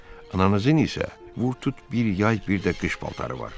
Ananızın isə vurtut bir yay, bir də qış paltarı var.